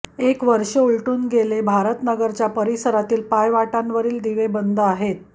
एक वर्ष उलटून गेले भारत नगरच्या परिसरातील पायवाटांवरील दिवे बंद आहेत